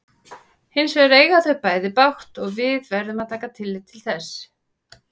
Hins vegar eiga þau bæði bágt og við verðum að taka tillit til þess.